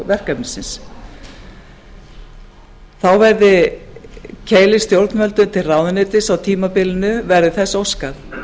verkefnisins þá verði keilir stjórnvöldum til ráðuneytis á tímabilinu verði þess óskað